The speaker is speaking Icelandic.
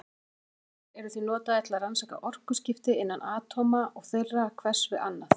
Púlsarnir eru því notaðir til að rannsaka orkuskipti innan atóma og þeirra hvers við annað.